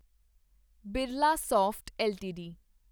Birlasoft LTD